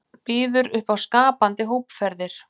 Býður upp á skapandi hópferðir